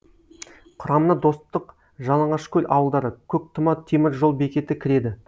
құрамына достық жалаңашкөл ауылдары көктұма темір жол бекеті кіреді